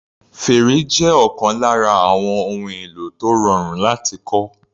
Fèrè jẹ́ ọ̀kan lára àwọn ohun èlò tó rọrùn láti kọ́.